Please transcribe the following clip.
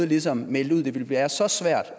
ligesom meldte ud at det ville være så svært